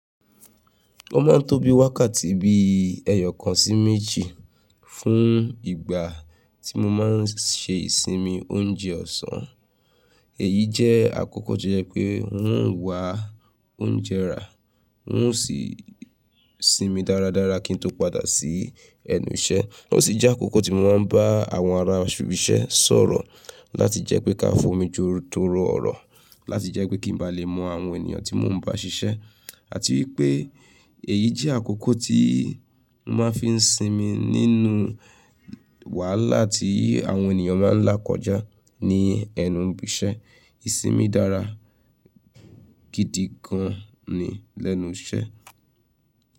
O máa ń tóbi wákàtí bí ẹyọ̀ kan sí méjì fún ìgbà tí mo máa ń ṣe ìsinmi oúnjẹ ọ̀sán. Èyí jẹ́ àkókò to jẹ pé ń ó wa oúnjẹ rà, ń ó sì sinmi dáradára kí n tó padà sí ẹnu iṣẹ́. Ó sì jẹ́ àkókò tí mo máa ń bá àwọn ará ibisẹ́ sọ̀rọ̀ láti jẹ́ pé ká fomi joro tó rọ ọ̀rọ̀, láti jẹ́ pé kí n ba lè mọ àwọn ènìyàn tí mo ń bá ṣiṣẹ́ àti wípé èyí jẹ́ àkókò tí mo máa fi ń sinmi nínú wàhálà tí àwọn ènìyàn máa ń lá kọjá ní ẹnu ibi iṣẹ́. Ìsinmi dára gidi gan ni lẹ́nu iṣẹ́.